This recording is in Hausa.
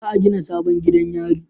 Za a gina sabon gidan yari